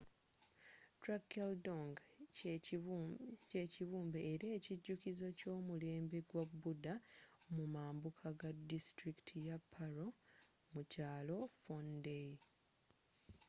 drukgyaldzong kyekibumbe era ekijukizo ky’omulembe gwa buddha mumambuka ga distulikiti ya paro mu kyalo phondey